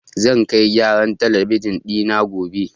Zan kai gyaran talabijin ɗi na gobe.